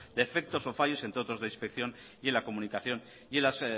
defectos o fallos entre otros de inspección y la comunicación y en las